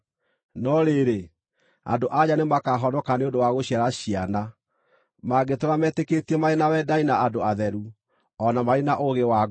No rĩrĩ, andũ-a-nja nĩ makaahonoka nĩ ũndũ wa gũciara ciana, mangĩtũũra metĩkĩtie marĩ na wendani na andũ atheru, o na marĩ na ũũgĩ wa ngoro.